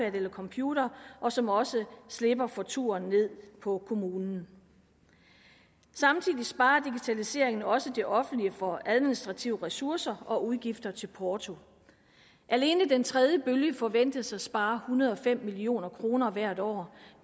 en computer og som også slipper for turen ned på kommunen samtidig sparer digitaliseringen også det offentlige for administrative ressourcer og udgifter til porto alene den tredje bølge forventes at spare hundrede og fem million kroner hvert år